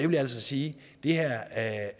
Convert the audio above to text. vil sige at